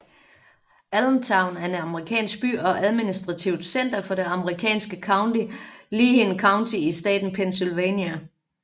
Allentown er en amerikansk by og administrativt center for det amerikanske county Lehigh County i staten Pennsylvania